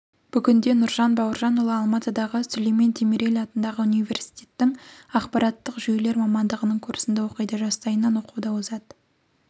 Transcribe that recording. бүгінде нұрлан бауыржанұлы алматыдағы сүлеймен демирел атындағы университеттің ақпараттық жүйелер мамандығының курсында оқиды жастайынан оқуда озат